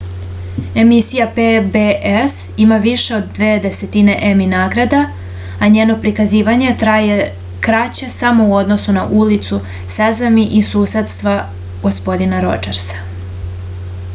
emisija pbs ima više od dve desetine emi nagrada a njeno prikazivanje traje kraće samo u odnosu na ulicu sesami i susedstva gospodina rodžersa